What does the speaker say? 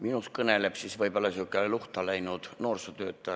Minus kõneleb võib-olla luhta läinud noorsootöötaja.